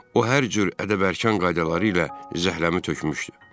O hər cür ədəb-ərkan qaydaları ilə zəhləmi tökmüşdü.